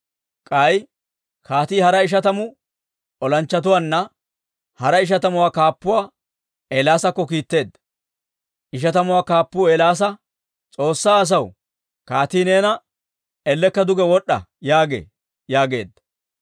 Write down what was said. K'ay kaatii hara ishatamu olanchchatuwaanna hara ishatamuwaa kaappuwaa Eelaasakko kiitteedda. Ishatamuwaa kaappuu Eelaasa, «S'oossaa asaw, kaatii neena, ellekka duge wod'd'a yaagee» yaageedda.